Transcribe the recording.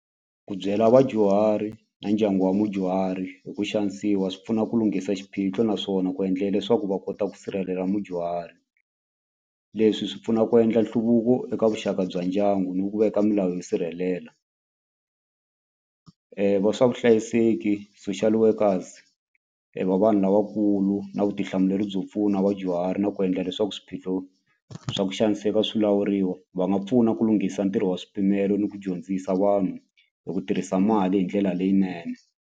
Ku byela vadyuhari na ndyangu wa mudyuhari hi ku xanisiwa swi pfuna ku lunghisa xiphiqo naswona ku endlela leswaku va kota ku sirhelela mudyuhari leswi swi pfuna ku endla nhluvuko eka vuxaka bya ndyangu ni ku veka milawu yo sirhelela va swa vuhlayiseki social workers va vanhu lavakulu na vutihlamuleri byo pfuna vadyuhari na ku endla leswaku swiphiqo swa ku xaniseka swilawuriwa va nga pfuna ku lunghisa ntirho wa swipimelo ni ku dyondzisa vanhu hi ku tirhisa mali hi ndlela leyinene.